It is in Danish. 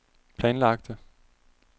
planlagte